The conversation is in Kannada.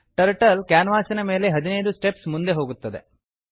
ಟರ್ಟಲ್ ಕ್ಯಾನ್ವಾಸಿನ ಮೇಲೆ 15 ಸ್ಟೆಪ್ಸ್ ಮುಂದೆ ಹೋಗುತ್ತದೆ